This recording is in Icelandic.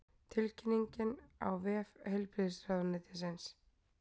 Tilkynningin á vef heilbrigðisráðuneytisins